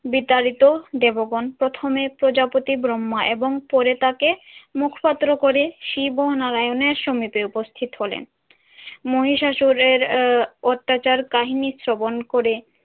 বিতাড়িত দেবগণ প্রথমে প্রজাপতি ব্রহ্মা এবং পরে তাকে মুখপাত্র করে শিব ও নারায়ণের সমীপে উপস্থিত হলেন। মহিষাসুরের আহ অত্যাচার কাহিনী শ্রবণ করে